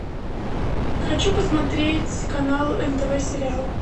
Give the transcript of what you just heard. хочу посмотреть канал нтв сериал